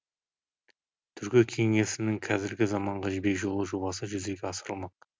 түркі кеңесінің қазіргі заманғы жібек жолы жобасы жүзеге асырылмақ